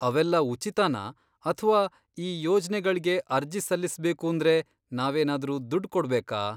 ಅವೆಲ್ಲ ಉಚಿತನಾ ಅಥ್ವಾ ಈ ಯೋಜ್ನೆಗಳ್ಗೆ ಅರ್ಜಿ ಸಲ್ಲಿಸ್ಬೇಕೂಂದ್ರೆ ನಾವೇನಾದ್ರೂ ದುಡ್ಡ್ ಕೊಡ್ಬೇಕಾ?